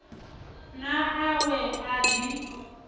na a we a ḓi